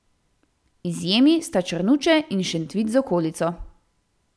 Izjemi sta Črnuče in Šentvid z okolico.